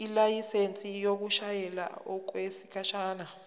ilayisensi yokushayela okwesikhashana